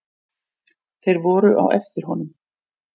Þeir voru á eftir honum.